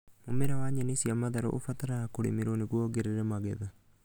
Mũmera wa nyeni cia matharũ ũbataraga kũrimirwo nĩguo wongerere magetha